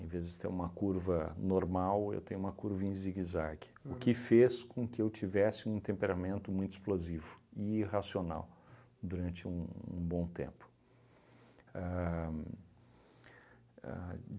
vez de ter uma curva normal, eu tenho uma curva em zigue-zague, o que fez com que eu tivesse um temperamento muito explosivo e irracional durante um um bom tempo. Ahn ahn